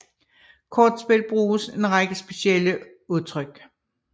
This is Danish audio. I kortspil bruges en række specielle udtryk